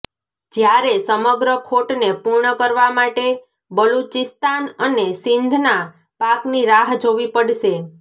જ્યારે સમગ્ર ખોટને પૂર્ણ કરવા માટે બલુચિસ્તાન અને સિંધના પાકની રાહ જોવી પડશે